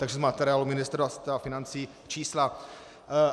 Takže z materiálu Ministerstva financí čísla.